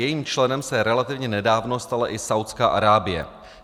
Jejím členem se relativně nedávno stala i Saúdská Arábie.